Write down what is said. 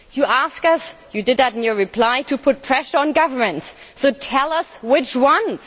You ask us, you did that in your reply, to put pressure on governments, so tell us which ones.